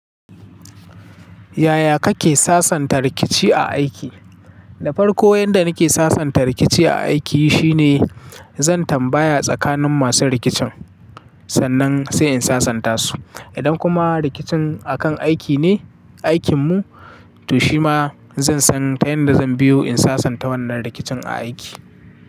Yaya kake sasanta rikici a aiki? Da farko, yanda nake sasanta rikici a aiki shine zan tambaya tsakanin masu rikicin sannan sai in sasanta su. Idan kuma rikicin akan aiki ne, aikinmu, to shima zansan ta yanda zan biyo in sasanta wannan rikicin a aiki.